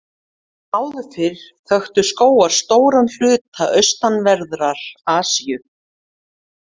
Hér áður fyrr þöktu skógar stóran hluta austanverðrar Asíu.